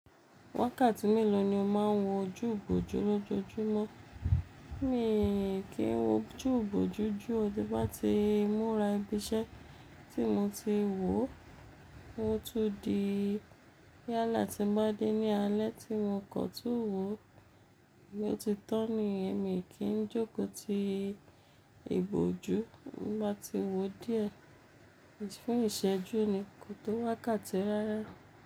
Wákàtí mélòó ni o máa ń wo ojú ìbòjú lójoojúmọ́? Mi kì í wo ojú ìbòjú jù, tí bá ti múra ibi iṣẹ́ tí mo ti wò ó, mo tún di yálà tí ń bá dé ní alé tí n mo kọ̀ tun wò ó tí ó ti tán ni, mi kì í jókòó ti ìbòjú bá ti wò díẹ̀, ṣùgbọ́n ìṣẹ́jú nì ko tó wákàtí rárá.